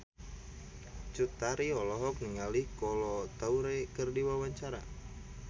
Cut Tari olohok ningali Kolo Taure keur diwawancara